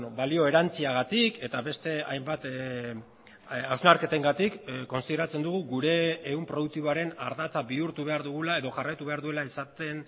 balio erantsiagatik eta beste hainbat hausnarketengatik kontsideratzen dugu gure ehun produktiboaren ardatza bihurtu behar dugula edo jarraitu behar duela izaten